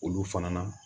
Olu fana na